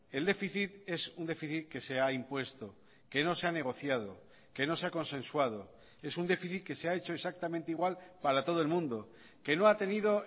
el déficit es un déficit que se ha impuesto que no se ha negociado que no se ha consensuado es un déficit que se ha hecho exactamente igual para todo el mundo que no ha tenido